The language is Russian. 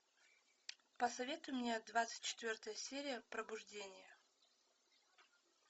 посоветуй мне двадцать четвертая серия пробуждение